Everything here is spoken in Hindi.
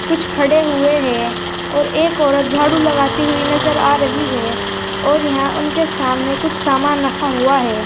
कुछ खड़े हुए हैं और एक औरत झाड़ू लगाते हुई नजर आ रही है और यहां उनके सामने कुछ सामान रखा हुआ है।